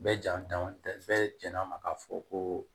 Bɛɛ ja dan tɛ bɛɛ jɛn'a ma k'a fɔ ko